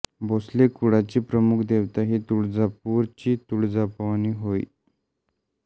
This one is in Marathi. भोसले कुळाची प्रमुख देवता ही तुळजापूर ची तुळजाभवानी होय